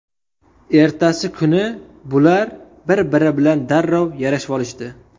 Ertasi kuni bular bir-biri bilan darrov yarashvolishdi.